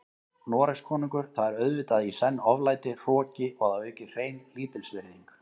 Noregskonungur, það er auðvitað í senn oflæti, hroki og að auki hrein lítilsvirðing.